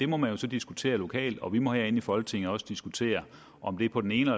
må man jo så diskutere det lokalt og vi må herinde i folketinget også diskutere om det på den ene